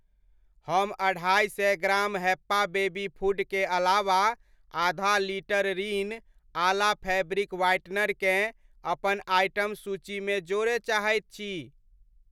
हम अढ़ाइ सए ग्राम हैप्पा बेबी फूड के अलावा आधा litre Rin Ala fabric whitener केँ अपन आइटम सूचीमे जोड़य चाहैत छी।